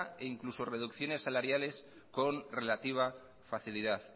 o incluso reducciones salariales con relativa facilidad